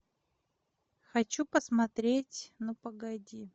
хочу посмотреть ну погоди